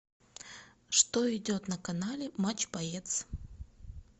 что идет на канале матч боец